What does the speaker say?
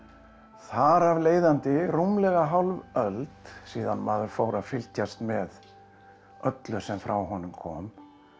þar af leiðandi rúmlega hálf öld síðan maður fór að fylgjast með öllu sem frá honum kom